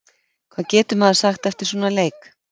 Hvað getur maður sagt eftir svona leik?